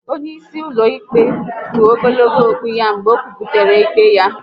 Onye isi ụlọ ikpe kpụ ogologo okpu ya mgbe o kwuputara ikpe ya